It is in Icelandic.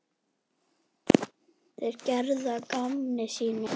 Þeir gerðu að gamni sínu.